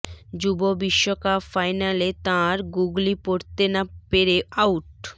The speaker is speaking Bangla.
যুব বিশ্বকাপ ফাইনালে তাঁর গুগলি পড়তে না পেরে আউট